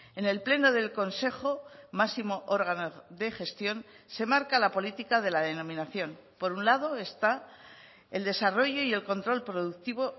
en el pleno del consejo máximo órgano de gestión se marca la política de la denominación por un lado está el desarrollo y el control productivo